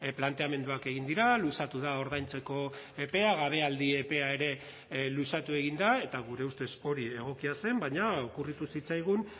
planteamenduak egin dira luzatu da ordaintzeko epea gabealdi epea ere luzatu egin da eta gure ustez hori egokia zen baina okurritu zitzaigun